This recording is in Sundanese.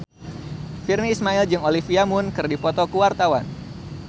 Virnie Ismail jeung Olivia Munn keur dipoto ku wartawan